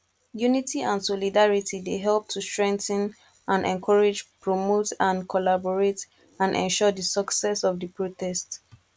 unity and solidarity dey help to strengthen and encourage promote and collaborate and ensure di success of di protest